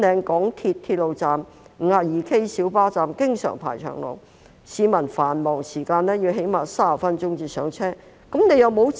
港鐵粉嶺站 52K 小巴站經常排長龍，市民在繁忙時間最少要等30分鐘才能夠上車。